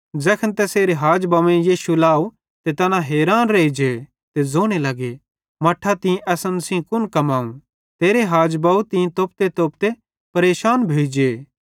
ज़ैखन तैसेरे हाज बव्वेईं यीशु लाव त तैना हैरान रेइजे ते ज़ोने लगे मट्ठां तीं असन सेइं एन कुन कमाव तेरां हाज बव तीं तोपतेतोपते परेशान भोइ जे